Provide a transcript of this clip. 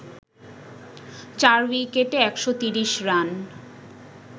৪ উইকেটে ১৩০ রান